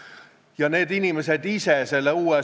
Just nimelt, te viitasite õigele asjale!